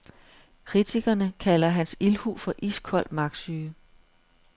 Kritikerne kalder hans ildhu for iskold magtsyge.